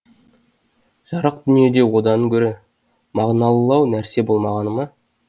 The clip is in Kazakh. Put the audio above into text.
жарық дүниеде одан гөрі мағыналылау нәрсе болмағаны ма